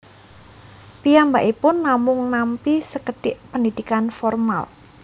Piyambakipun namung nampi sekedhik pendidikan formal